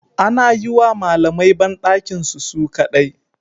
Ana yiwa malamai bandakinsu su kadai